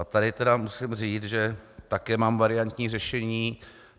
A tady tedy musím říct, že také mám variantní řešení.